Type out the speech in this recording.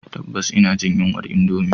Tabbas ina jin yunwar indomie